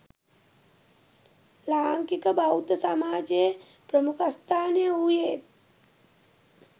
ලාංකික බෞද්ධ සමාජයේ ප්‍රමුඛස්ථානය වූයේත්